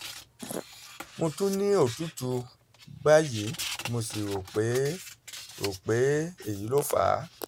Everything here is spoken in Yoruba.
mo tún ní òtútù báyìí mo sì rò pé rò pé èyí ló fà á